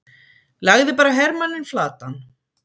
lagði bara hermanninn flatan!